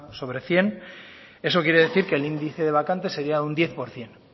sobre cien eso quiere decir que el índice de vacante sería un diez por ciento